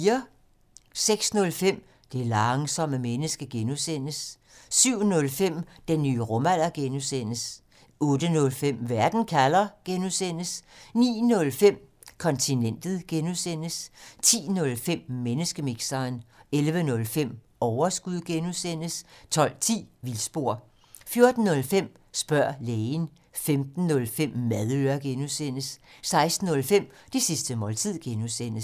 06:05: Det langsomme menneske (G) 07:05: Den nye rumalder (G) 08:05: Verden kalder (G) 09:05: Kontinentet (G) 10:05: Menneskemixeren 11:05: Overskud (G) 12:10: Vildspor 14:05: Spørg lægen 15:05: Madøre (G) 16:05: Det sidste måltid (G)